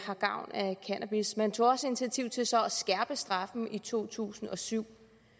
har gavn af cannabis man tog også initiativ til så at skærpe straffen i to tusind og syv